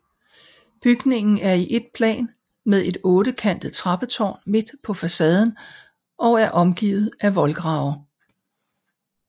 Bygningen er i ét plan med et ottekantet trappetårn midt på facaden og er omgivet af voldgrave